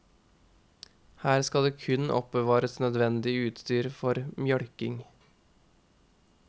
Her skal det kun oppbevares nødvendig utstyr for mjølking.